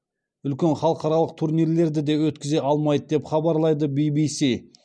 үлкен халықаралық турнирлерді де өткізе алмайды деп хабарлайды ввс